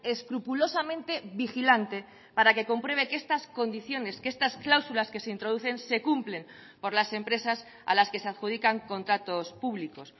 escrupulosamente vigilante para que compruebe que estas condiciones que estas cláusulas que se introducen se cumplen por las empresas a las que se adjudican contratos públicos